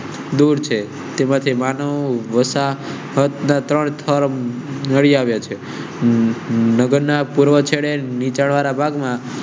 દૂર છે તેમાંથી માનવ. . નગર ના પૂર્વ છેડે નીચાણ વાળા ભાગ માં.